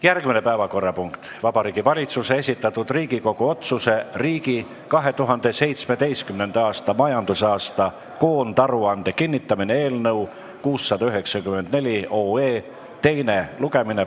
Järgmine päevakorrapunkt on Vabariigi Valitsuse esitatud Riigikogu otsuse "Riigi 2017. aasta majandusaasta koondaruande kinnitamine" eelnõu 694 teine lugemine.